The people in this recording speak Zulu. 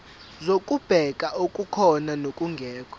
zokubheka okukhona nokungekho